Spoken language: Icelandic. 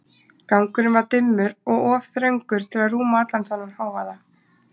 Gangurinn var dimmur og of þröngur til að rúma allan þennan hávaða.